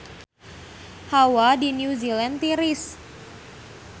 Hawa di New Zealand tiris